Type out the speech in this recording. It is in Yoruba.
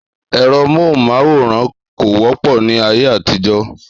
Èro móhùn máwòrán kò wọ́pọ̀ ni ayé àtijó